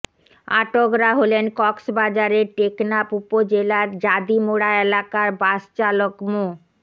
আটকরা হলেন কক্সবাজারের টেকনাফ উপজেলার জাদিমোড়া এলাকার বাসচালক মো